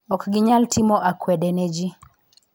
Ok ginyal timo akwede ne ji